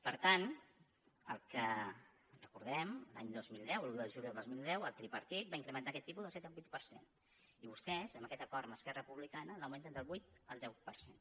per tant el que recordem l’any dos mil deu l’un de juliol del dos mil deu el tripartit va incrementar aquest tipus del set al vuit per cent i vostès amb aquest acord amb esquerra republicana l’augmenten del vuit al deu per cent